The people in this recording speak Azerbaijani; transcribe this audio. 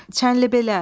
Çənlibelə.